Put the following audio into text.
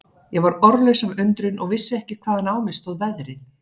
Ég varð orðlaus af undrun og vissi ekki hvaðan á mig stóð veðrið.